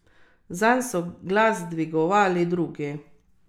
Zanj so glas dvigovali drugi.